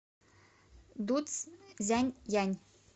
дуцзянъянь